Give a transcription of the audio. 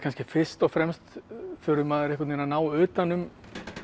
fyrst og fremst þurfi maður að ná utan um